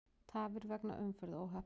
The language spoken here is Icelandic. Tafir vegna umferðaróhapps